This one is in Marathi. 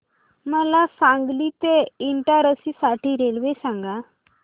मला सांगली ते इटारसी साठी रेल्वे सांगा